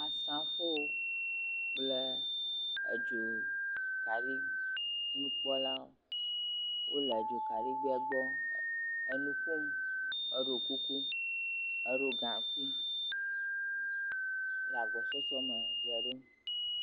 Asrafowo kple edzokaɖiŋukpɔlawo wole dzokaɖigbea gbɔ enu ƒom, eɖo kuku, eɖo gaŋkui le agbɔsɔsɔme dze ɖom.